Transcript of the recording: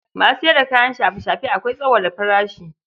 Masu sayar da kayan shafe-shafe akwai tsauwala farashi.